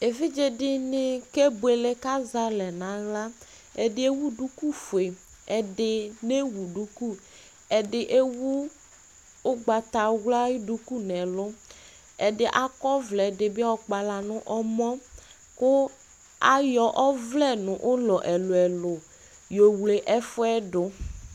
Evidze dini kebuele k'azalɛ n'aɣla Ɛdi ewu duku fue, ɛdi newu duku, ɛdi ewu ʋgbatawla ayʋ duku n'ɛlʋ, ɛdi ak'ɔ vlɛ, ɛdibi ɔkpala n'ɔmɔ kʋ ayɔ ɔvlɛ nʋ ʋlɔ ɛlʋɛ ɛlʋ yo wle ɛfʋɛ dʋ